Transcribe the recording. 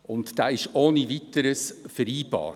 Dieser ist ohne Weiteres vereinbar.